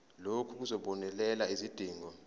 lokhu kuzobonelela izidingo